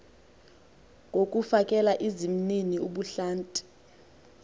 ngokufakela izimnini ubuhlanti